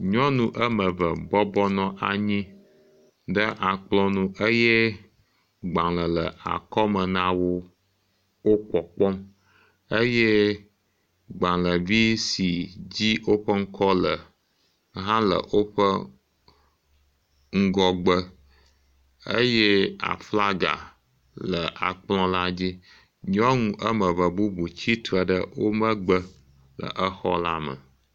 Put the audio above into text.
Nyɔnu ame ve bɔbɔ nɔ anyi ɖe akplɔ̃ nu eye gbalẽ le akɔme na wo wo pkɔkpɔm, eye gbalẽvi s dzi woƒe ŋkɔ le hã le woƒe ŋgɔgbe eye aflaga le akplɔ̃la dzi. Nyɔnu ame ve bubu tsi tre ɖe wo megbe le exɔla me.